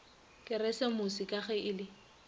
keresemose ka ge e le